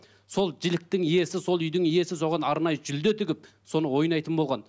сол жіліктің иесі сол үйдің иесі соған арнайы жүлде тігіп соны ойнайтын болған